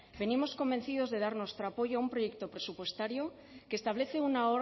venimos convencidos de dar nuestro apoyo a un proyecto presupuestario que establece una